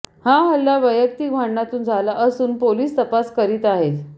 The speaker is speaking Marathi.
हा हल्ला वैयक्तिक भाडणातून झाला असून पोलीस तपास करीत आहेत